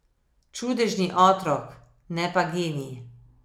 Čudežni otrok, ne pa genij.